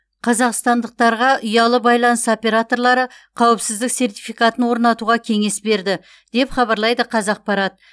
қазақстандықтарға ұялы байланыс операторлары қауіпсіздік сертификатын орнатуға кеңес берді деп хабаралйды қазақпарат